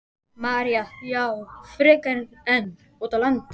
María: Já, frekar en út á land?